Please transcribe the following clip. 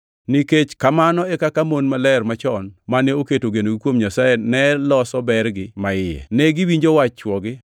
Nikech kamano e kaka mon maler machon mane oketo genogi kuom Nyasaye ne loso bergi maiye. Ne giwinjo wach chwogi,